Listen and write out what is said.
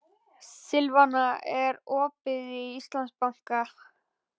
Silvana, er opið í Íslandsbanka?